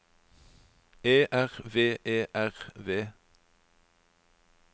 E R V E R V